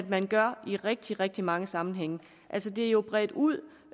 man gør i rigtig rigtig mange sammenhænge det er jo bredt ud